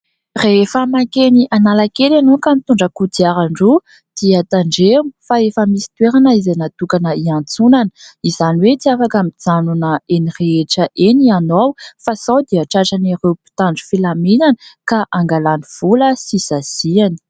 Rehefa mankeny Analakely ianao ka mitondra kodiaran-droa dia tandremo fa efa misy toerana izay natokana hiantsonana ; izany hoe tsy afaka mijanona eny rehetra eny ianao fa sao dia tratran'ireo mpitandro filaminana ka angalany vola sy saziny.